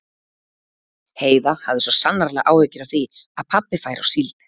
Heiða hafði svo sannarlega áhyggjur af því að pabbi færi á síld.